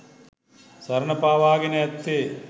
සරණ පාවාගෙන ඇත්තේ